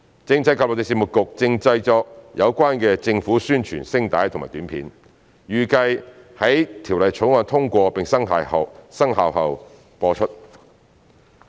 政制及內地事務局正製作有關的政府宣傳聲帶及短片，預計於《條例草案》通過並生效後播出。